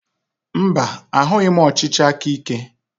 Mba, ahụghị m ọchịchị aka ike.